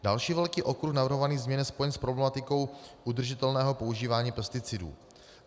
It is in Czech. Další velký okruh navrhovaných změn je spojen s problematikou udržitelného používání pesticidů.